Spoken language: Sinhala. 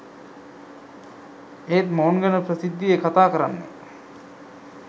ඒත් මොවුන් ගැන ප්‍රසිද්ධියේ කතාකරන්නේ